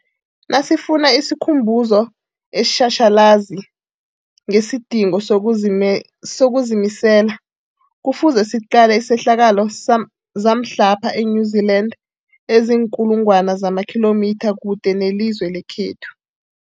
Nasifuna isikhumbuzo esitjhatjhalazi ngesidingo sokuzimisela, Kufuze siqale izehlakalo zamhlapha e-New Zealand eziinkulu ngwana zamakhilomitha kude nelizwe lekhethu.